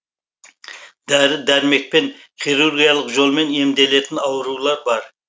дәрі дәрмекпен хирургиялық жолмен емделетін аурулар бар